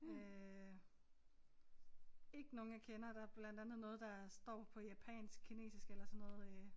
Øh ikke nogen jeg kender der blandt andet noget der står på japansk kinesisk eller sådan noget øh